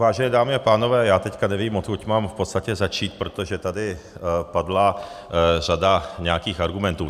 Vážené dámy a pánové, já teď nevím, odkud mám v podstatě začít, protože tady padla řada nějakých argumentů.